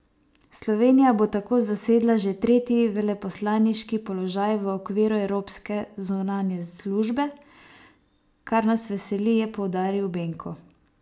Slovenija bo tako zasedla že tretji veleposlaniški položaj v okviru evropske zunanje službe, kar nas veseli, je poudaril Benko.